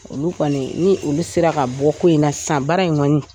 Olu kɔni , ni olu kɔni ni olu sera ka bɔ ko in na san, baara in kɔni !